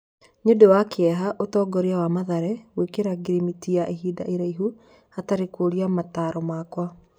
"Nĩ ũndũ wa kĩeha ũtongoria wa Mathare gwĩkĩra ngirimiti ya ihinda iraihu hatarĩ kũria mataro makwa"